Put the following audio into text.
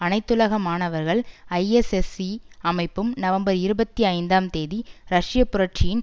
அனைத்துலக மாணவர்கள் ஐஎஸ்எஸ்இ அமைப்பும் நவம்பர் இருபத்தி ஐந்தாம் தேதி ரஷ்ய புரட்சியின்